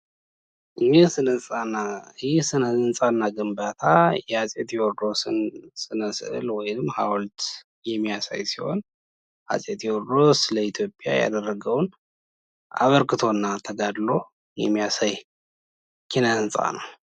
ይህ ስነ ህንፃና ግንባታ የአፄ ቴዎድሮስን ስነ ስዕል ወይም ሀውልት የሚያሳይ ሲሆን አፄ ቴዎድሮስ ለኢትዮጵያ ያደረገውነሰ አበርክቶና ተጋድሎ የሚያሳይ ኪነ ህንፃ ነው።